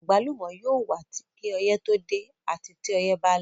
Àgbálùmọ́ yóò wà kí ọyẹ́ tó dé àti tí ọyẹ́ ba lọ.